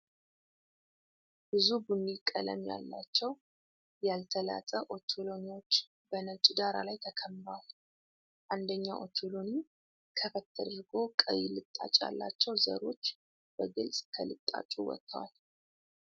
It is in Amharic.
ብዙ ቡኒ ቀለም ያላቸው ያልተላጠ ኦቾሎኒዎች በነጭ ዳራ ላይ ተከምረዋል። አንደኛው ኦቾሎኒ ከፈት ተደርጎ ቀይ ልጣጭ ያላቸው ዘሮች በግልጽ ከልጣጩ ወጥተዋል።